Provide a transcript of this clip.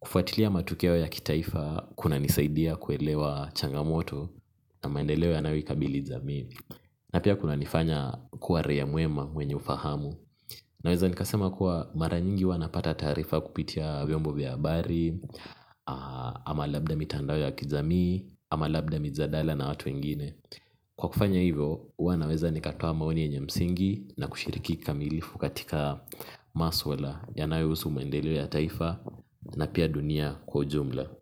kufuatilia matukeo ya kitaifa kuna nisaidia kuelewa changamoto na maendeleo yanayo ikabili jamii. Na pia kuna nifanya kuwa raia mwema mwenye ufahamu. Na weza nikasema kuwa mara nyingi huwa napata taarifa kupitia vyombo vya habari. Ama labda mitandao ya kijamii ama labda mijadala na watu wengine kwa kufanya hivyo huwa naweza nikatoa maoni yenye msingi na kushiriki kamilifu katika maswala yanayohusu maendeleo ya taifa na pia dunia kwa ujumla.